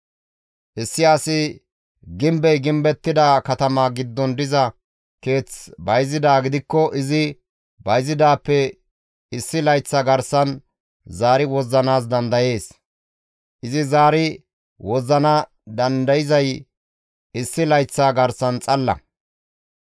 « ‹Issi asi gimbey gimbettida katama giddon diza keeth bayzidaa gidikko izi bayzidaappe issi layththa garsan zaari wozzanaas dandayees; izi zaari wozzana dandayzay issi layththa garsan xalla.